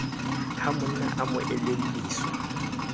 ha monna a mo elelliswa